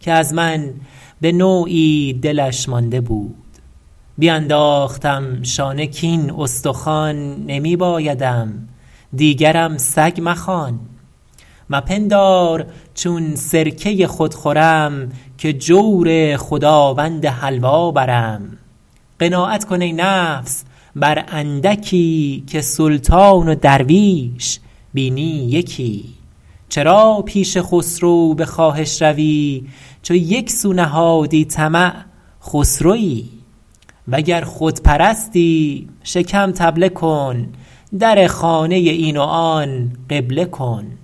که از من به نوعی دلش مانده بود بینداختم شانه کاین استخوان نمی بایدم دیگرم سگ مخوان مپندار چون سرکه خود خورم که جور خداوند حلوا برم قناعت کن ای نفس بر اندکی که سلطان و درویش بینی یکی چرا پیش خسرو به خواهش روی چو یک سو نهادی طمع خسروی وگر خود پرستی شکم طبله کن در خانه این و آن قبله کن